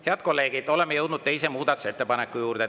Head kolleegid, oleme jõudnud teise muudatusettepaneku juurde.